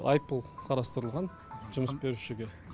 айыппұл қарастырылған жұмыс берушіге